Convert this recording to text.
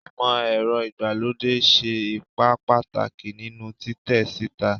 Imọ-ẹrọ igbalode ṣe ipa pataki ninu titẹ sita